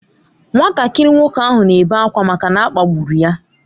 Nwatakịrị nwoke ahụ na-ebe akwa maka na a kpagburu ya.